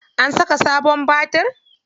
An saka sabon batir.